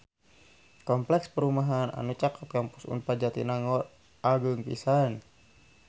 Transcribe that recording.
Kompleks perumahan anu caket Kampus Unpad Jatinangor agreng pisan